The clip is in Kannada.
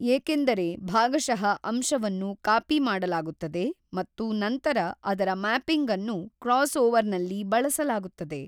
ಏಕೆಂದರೆ ಭಾಗಶಃ ಅಂಶವನ್ನು ಕಾಪಿ ಮಾಡಲಾಗುತ್ತದೆ ಮತ್ತು ನಂತರ ಅದರ ಮ್ಯಾಪಿಂಗ್ ಅನ್ನು ಕ್ರಾಸ್ಓವರ್ ನಲ್ಲಿ ಬಳಸಲಾಗುತ್ತದೆ.